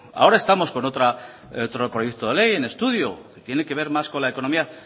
ahora estamos con otro proyecto de ley en estudio